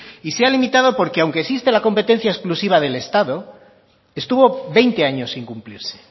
se ha limitado porque aunque exista la competencia exclusiva del estado estuvo veinte años sin cumplirse